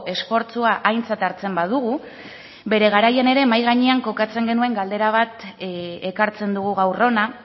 esfortzua aintzat hartzen badugu bere garaian ere mahai gainean kokatzen genuen galdera bat ekartzen dugu gaur hona